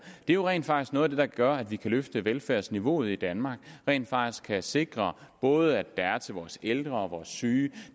det er jo rent faktisk noget af det der gør at vi kan løfte velfærdsniveauet i danmark rent faktisk kan sikre at både er til vores ældre og vores syge